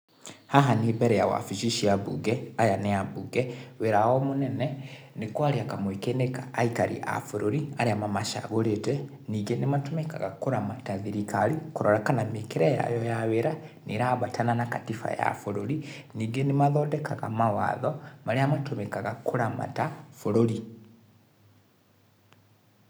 Haha nĩ mbere ya wabici cia mbunge, aya nĩ ambunge, wĩra wao mũnene nĩ kwaria kamweke-inĩ ka aikari a bũrũri arĩa mamacagũrĩte .Ningĩ nĩ matũmĩkaga kũramata thirikari, kũrora kana mĩkĩre yayo ya wĩra nĩ ĩrambatana na katiba ya bũrũri, ningĩ nĩ mathondekaga mawatho marĩa matũmĩkaga kũramata bũrũri.